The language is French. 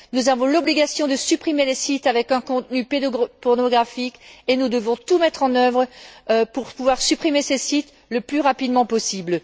Nous avons l'obligation de supprimer les sites avec un contenu pédopornographique et nous devons tout mettre en œuvre pour pouvoir supprimer ces sites le plus rapidement possible.